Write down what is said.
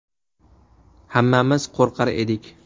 Hammamiz qo‘rqar edik.